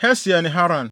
Hasiel ne Haran.